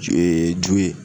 Ju ju ye